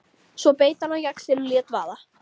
Svo beit hann á jaxlinn og lét vaða.